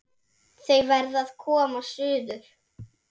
Þau verða að koma suður!